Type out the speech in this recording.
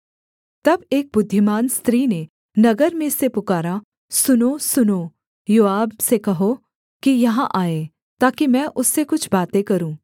तब एक बुद्धिमान स्त्री ने नगर में से पुकारा सुनो सुनो योआब से कहो कि यहाँ आए ताकि मैं उससे कुछ बातें करूँ